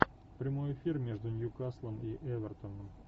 прямой эфир между ньюкаслом и эвертоном